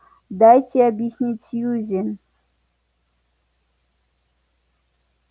дайте объяснить сьюзен